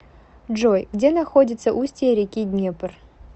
джой где находится устье реки днепр